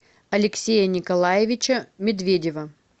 алексея николаевича медведева